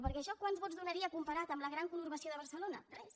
perquè això quants vots donaria comparat amb la gran conurbació de barcelona res